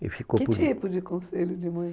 e ficou tudo... Que tipo de conselho de mãe?